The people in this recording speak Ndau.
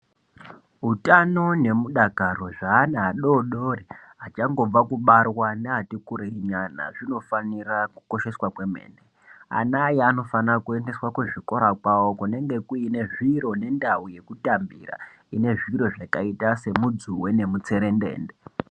Utano neumdakaro hweana adodori achangobva kubarwa neati kurei zvinofanira kukosheswa kwemene ana aya anofanira kuendeswa kuzvikora kwavo kunenge kuine zviro nendau yekutambira ine zviro zvakaita semudzuwe nemutserendende .